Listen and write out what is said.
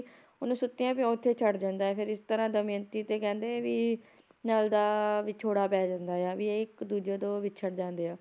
ਉਹਨੂੰ ਸੁੱਤਿਆ ਪਿਆ ਉੱਥੇ ਛੱਡ ਜਾਂਦਾ ਆ ਫਿਰ ਇਸ ਤਰਾਂ ਦਮਿਅੰਤੀ ਤੇ ਕਹਿੰਦੇ ਵੀ ਨਲ ਦਾ ਵਿਛੋੜਾ ਪੈ ਜਾਂਦਾ ਆ ਵੀ ਇਹ ਇਕ ਦੂਜੇ ਤੋਂ ਵਿਛੜ ਜਾਂਦੇ ਆ